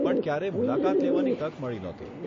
પણ ક્યારેય મુલાકાત લેવાની તક મળી નહોતી.